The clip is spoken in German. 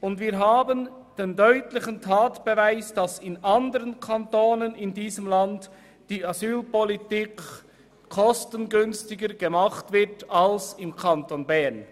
Und wir haben den deutlichen Tatbeweis, dass die Asylpolitik in anderen Kantonen kostengünstiger gemacht wird als im Kanton Bern.